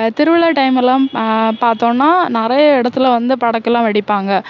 அஹ் திருவிழா time எல்லாம் அஹ் பார்த்தோம்னா நிறைய இடத்திலே வந்து படக்கெல்லாம் வெடிப்பாங்க